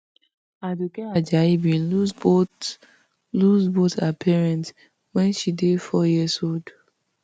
aduke ajayi bin lose both lose both her parents wen she dey four years old